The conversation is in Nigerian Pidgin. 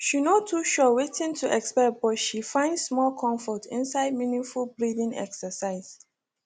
she no too sure wetin to expect but she find small comfort inside mindful breathing exercise